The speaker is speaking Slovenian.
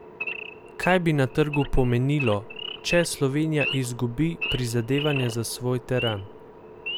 Kaj bi na trgu pomenilo, če Slovenija izgubi prizadevanja za svoj teran?